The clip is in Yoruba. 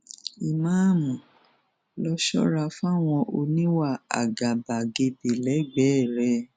ìmáàmù rọ ṣọra fáwọn oníwà àgàbàgebè lẹgbẹẹ rẹ